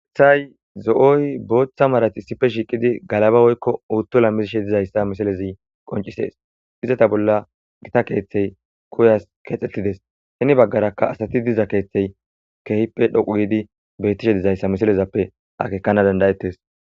Athay zoy booththa marati sife shiiqidi galaba woykko uuttola mizishe dizayssa misalezi qoncisees izata bolla gita keeththey koyas keexxetides heni baggarakka asati diza keeththey kehippe dhoqu giidi beyttishe dizayssa misalezappe akekana dandayettes.